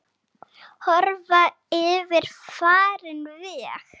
Horfa yfir farinn veg.